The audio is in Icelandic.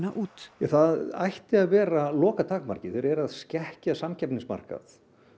út ja það ætti að vera lokatakmarkið þeir eru að skekkja samkeppnismarkað